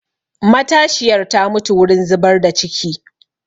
Matashiyar ta mutu wurin zubar da ciki